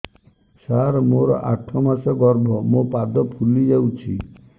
ସାର ମୋର ଆଠ ମାସ ଗର୍ଭ ମୋ ପାଦ ଫୁଲିଯାଉଛି